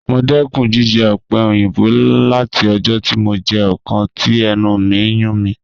Mo dẹkun jijẹ ope oyinbo lati ọjọ ti mo jẹ ọkan ti ẹnu mi n yun mi.